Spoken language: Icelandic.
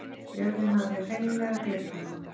Jörðin hafði hreinlega gleypt hana.